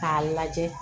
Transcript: K'a lajɛ